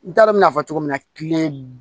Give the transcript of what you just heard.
N t'a dɔn n mɛna fɔ cogo min na kiliyan